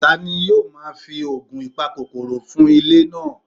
Tani yoo ma fi oogun ipakokoro fun ile naa?